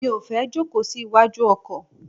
Mi ò fẹ́ jókòó sí iwájú ọkọ̀.